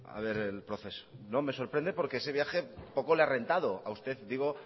a ver el proceso no me sorprende porque ese viaje poco le ha rentado a usted digo